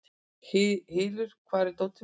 Hylur, hvar er dótið mitt?